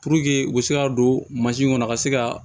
Puruke u bɛ se ka don mansin kɔnɔ ka se ka